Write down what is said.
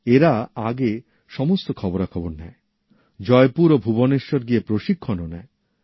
এরা আগে সমস্ত খবরাখবর নেয় জয়পুর ও ভুবনেশ্বর গিয়ে প্রশিক্ষণ ও নেয়